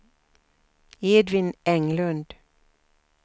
Edvin Englund